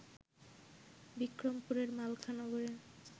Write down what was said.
বিক্রমপুরের মালখা নগরে